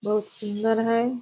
बहुत सुंदर है।